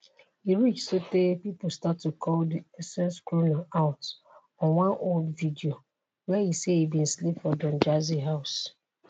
e reach sotay pipo start to call di essence crooner out on one old video wia e say e bin sleep for don jazzy house.